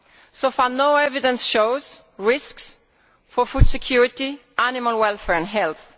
So far, no evidence shows risks for food security, animal welfare or health.